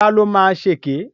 Lará ló máa ṣèkè.